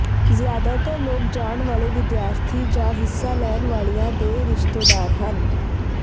ਜ਼ਿਆਦਾਤਰ ਲੋਕ ਜਾਣ ਵਾਲੇ ਵਿਦਿਆਰਥੀ ਜਾਂ ਹਿੱਸਾ ਲੈਣ ਵਾਲਿਆਂ ਦੇ ਰਿਸ਼ਤੇਦਾਰ ਹਨ